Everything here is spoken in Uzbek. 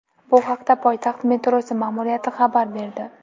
Bu haqda poytaxt metrosi ma’muriyati xabar berdi .